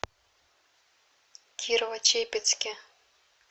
кирово чепецке